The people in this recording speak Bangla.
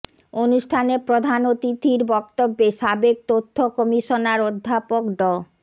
অনুষ্ঠানে প্রধান অতিথির বক্তব্যে সাবেক তথ্য কমিশনার অধ্যাপক ড